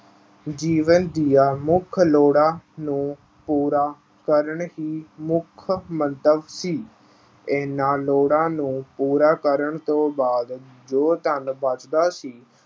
ਜੀਵਨ ਦੀਆਂ ਮੁੱਖ ਲੋੜਾਂ ਨੂੰ ਪੂਰਾ ਕਰਨਾ ਹੀ ਮੁੱਖ ਮੰਤਵ ਸੀ। ਇਹਨਾਂ ਲੋੜਾਂ ਨੂੰ ਪੂਰਾ ਕਰਨ ਤੋਂ ਬਾਅਦ ਜੋ ਧਨ ਬਚਦਾ ਸੀ